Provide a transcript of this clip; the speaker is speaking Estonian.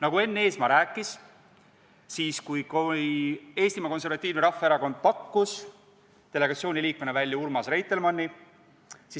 Nagu Enn Eesmaa rääkis, kui Eestimaa Konservatiivne Rahvaerakond pakkus delegatsiooni liikmena välja Urmas Reitelmanni,